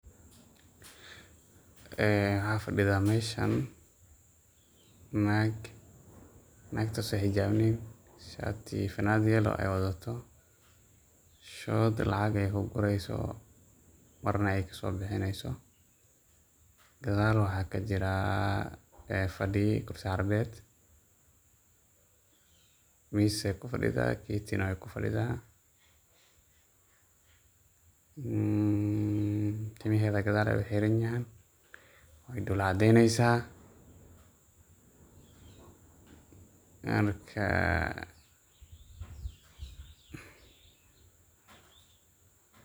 Aa waxay mashan nag nagtas oo xijawnan shirti iyo fananad yellow aya wada taho shod lacag ku guraysoh, marna ay ka sobihinaysoh, gadal waxa ka jirah fadiya dulsaran kubad, mas ayay ku fadida kati way ku fadida, aa timahada gadal aya uxirayay, way dol cadaynasah, marka.